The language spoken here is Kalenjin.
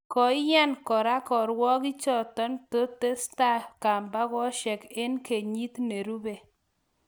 koinyan koraa kirwakiik chotok totesta kambakoshek eng kenyit nerube